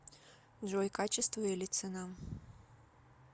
джой качество или цена